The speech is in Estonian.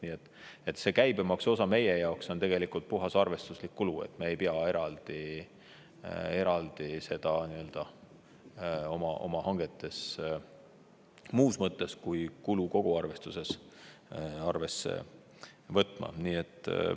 Nii et see käibemaksuosa meie jaoks on tegelikult puhas arvestuslik kulu, me ei pea eraldi seda oma hangetes muus mõttes kui kulu koguarvestuses arvesse võtma.